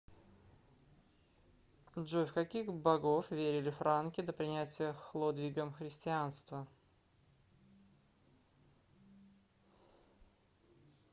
джой в каких богов верили франки до принятия хлодвигом христианства